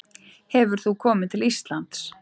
Hefur þú komið til Íslands?